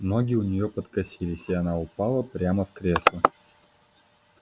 ноги у неё подкосились и она упала в кресло